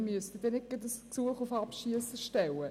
So müsste man nicht gleich ein Gesuch auf Abschiessen stellen.